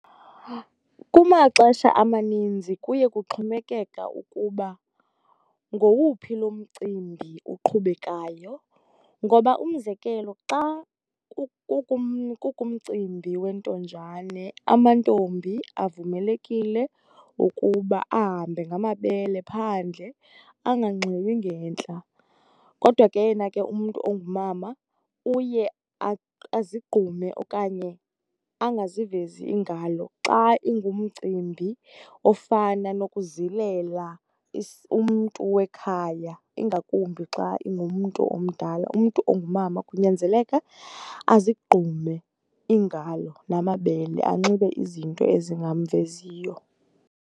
Kumaxesha amaninzi kuye kuxhomekeka ukuba ngowuphi lo mcimbi uqhubekayo. Ngoba umzekelo, xa kukumcimbi wentonjane amantombi avumelekile ukuba ahambe ngamabele phandle, anganxibi ngentla. Kodwa ke yena ke umntu ongumama uye azigqume okanye angazivezi iingalo xa ingumcimbi ofana nokuzilela umntu wekhaya ingakumbi xa ingumntu omdala, umntu ongumama kunyanzeleka azigqume iingalo namabele, anxibe izinto ezingamveziyo.